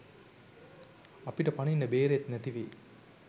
අපිට පනින්න බේරෙත් නැතිවෙයි.